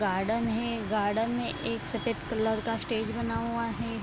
Garden है garden में एक सफ़ेद कलर का स्टेज बना हुआ है।